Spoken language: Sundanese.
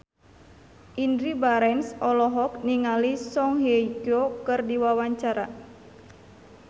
Indy Barens olohok ningali Song Hye Kyo keur diwawancara